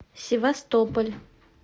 севастополь